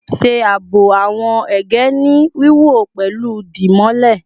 Ṣe aabo awọn ege ni wiwọ pẹlu dimole